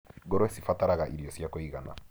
Ngũrũwe cibataraga irio cia kũigana.